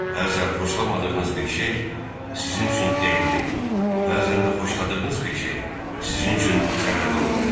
Bəzən xoşlamadığınız bir şey sizin üçün xeyirli, bəzən də xoşladığınız bir şey sizin üçün zərərli ola bilər.